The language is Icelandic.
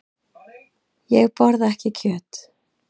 Ég borða ekki kjöt.